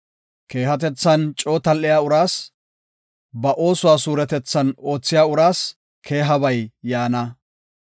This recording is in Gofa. Keehatethan coo tal7iya uraas, ba oosuwa suuretethan oothiya uraas keehabay yaana.